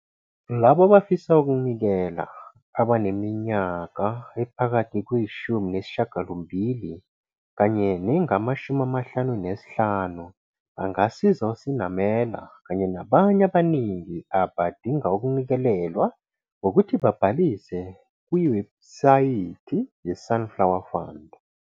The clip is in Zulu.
Labo abafisa ukunikela abaneminyaka ephakathi kweyi-18 kanye nengama-55 bangasiza uSenamela kanye nabanye abaningi abadinga ukunikelelwa ngokuthi babhalise kwiwebhusayithi yeSunflower Fund.